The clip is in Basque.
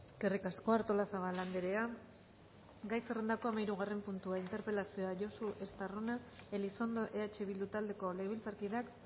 eskerrik asko artolazabal andrea gai zerrendako hamahirugarren puntua interpelazioa josu estarrona elizondo eh bildu taldeko legebiltzarkideak